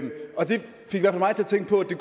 tænke på at det